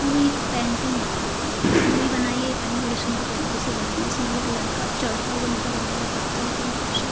ये एक पेंटिंग बनी हुई है जो भी बनाई है ये पेंटिंग बड़ी सुन्दर तरीके से बनाई है। इसमें एक लड़का चढ़ता हुआ नजर आ रहा है पत्थर के ऊपर से।